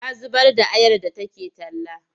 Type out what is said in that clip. Ta zubar da ayar da take talla.